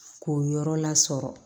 K'o yɔrɔ lasɔrɔ